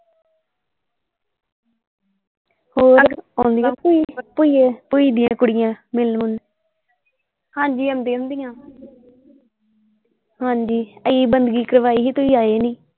ਹੋਰ ਆਉਂਦੀਆਂ ਹੁੰਦੀਆਂ ਭੂਈ ਭੂਈ ਦਿਆਂ ਕੁੜੀਆਂ ਮਿਲਣ ਮੁਲਣ ਹਾਂਜੀ ਆਉਂਦੀਆਂ ਹੁੰਦੀਆਂ ਹਾਂਜੀ ਅਸੀਂ ਬੰਦਗੀ ਕਰਵਾਈ ਸੀ ਤੁਸੀਂ ਆਏ ਨਹੀਂ।